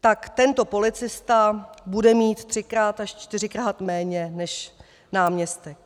Tak tento policista bude mít třikrát až čtyřikrát méně než náměstek.